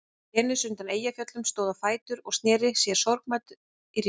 Venus undan Eyjafjöllum stóð á fætur og sneri sér sorgmædd í hring.